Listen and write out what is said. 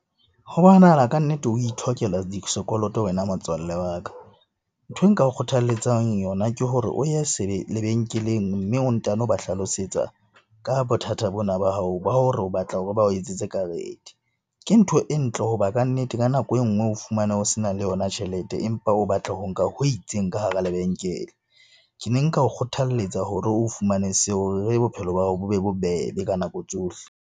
Ho bonahala kannete o itlhokela sekoloto wena motswalle wa ka. Nthwe nka kgothalletsang yona ke hore o ye lebenkeleng, mme o ntano ba hlalosetsa ka bothata bona ba hao ba hore o batla hore bao etsetse karete. Ke ntho e ntle hoba kannete ka nako e nngwe o fumane ho se na le yona tjhelete, empa o batla ho nka ho itseng ka hara lebenkele. Ke ne nka o kgothaletsa hore o fumane seo hore bophelo ba hao bo be bobebe ka nako tsohle.